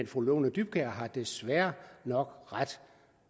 fru lone dybkjær har desværre nok ret